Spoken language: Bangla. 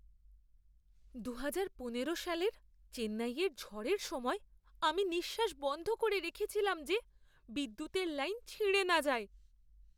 দুহাজার পনেরো সালের, চেন্নাইয়ের ঝড়ের সময় আমি নিঃশ্বাস বন্ধ করে রেখেছিলাম যে বিদ্যুতের লাইন ছিঁড়ে না যায়।